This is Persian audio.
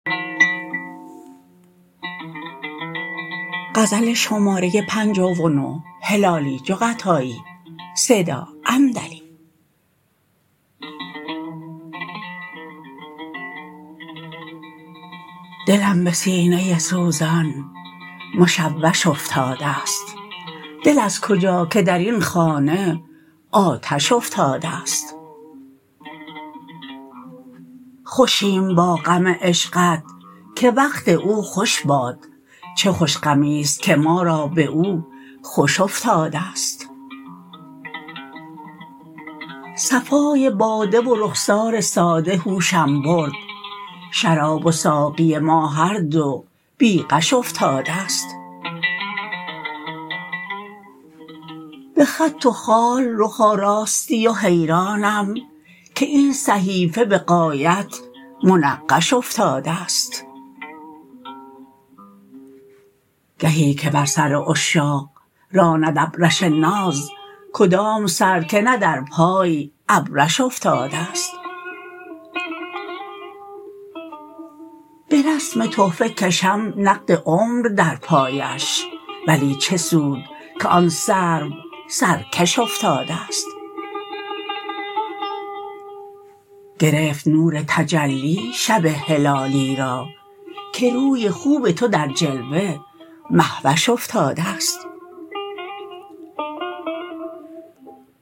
دلم بسینه سوزان مشوش افتادست دل از کجا که درین خانه آتش افتادست خوشیم با غم عشقت که وقت او خوش باد چه خوش غمیست که ما را باو خوش افتادست صفای باده و رخسار ساده هوشم برد شراب و ساقی ما هر دو بی غش افتادست بخط و خال رخ آراستی و حیرانم که این صحیفه بغایت منقش افتادست گهی که بر سر عشاق راند ابرش ناز کدام سر که نه در پای ابرش افتادست برسم تحفه کشم نقد عمر در پایش ولی چه سود که آن سرو سر کش افتادست گرفت نور تجلی شب هلالی را که روی خوب تو در جلوه مهوش افتادست